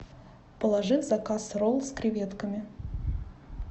положи в заказ ролл с креветками